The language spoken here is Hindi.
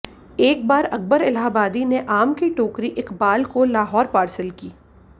एक बार अकबर इलाहाबादी ने आम की टोकरी इक़बाल को लाहौर पार्सल की